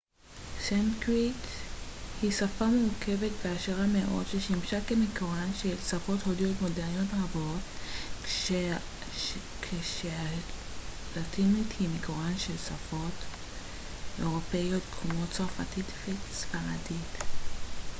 סנסקריט היא שפה מורכבת ועשירה מאוד ששימשה כמקורן של שפות הודיות מודרניות רבות כשם שהלטינית היא מקורן של שפות אירופאיות כמו צרפתית וספרדית